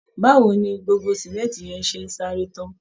Báwo wo ni gbogbo símẹ́ńtì yẹn ṣe ń sáré tán